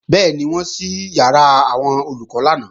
Bẹ́ẹ̀ni, wọ́n ṣí ìyàrá àwọn Olùkọ́ lánàá